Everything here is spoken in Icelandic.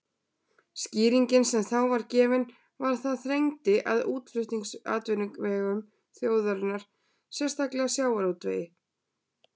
Skýringin sem þá var gefin var að það þrengdi að útflutningsatvinnuvegum þjóðarinnar, sérstaklega sjávarútvegi.